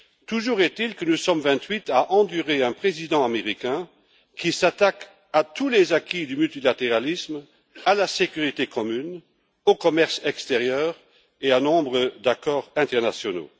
Toujours est il que nous sommes vingt huit à endurer un président américain qui s'attaque à tous les acquis du multilatéralisme, à la sécurité commune, au commerce extérieur et à nombre d'accords internationaux.